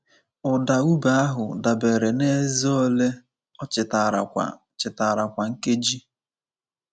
Ụda ube ahụ dabere n’eze ole o chitara kwa chitara kwa nkeji.